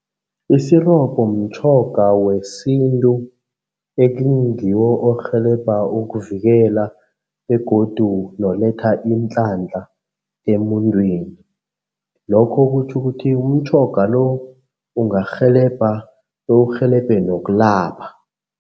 Isirobho mtjhoga wesintu ekingiwo orhelebha ukuvikela begodu noletha iinhlanhla emuntwini. Lokho kutjho ukuthi umtjhoga lo ungarhelebha bewurhelebhe nokulapha.